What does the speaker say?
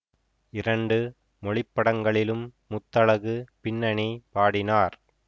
இரண்டு மொழிப்படங்களிலும் முத்தழகு பின்னணி பாடினார்